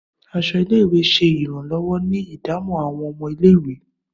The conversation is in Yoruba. Aṣọ ile-iwe ṣe iranlọwọ ni idamo awọn ọmọ ile-iwe